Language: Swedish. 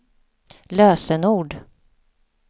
lösenord